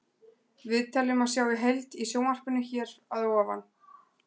Viðtalið má sjá í heild í sjónvarpinu hér að ofan.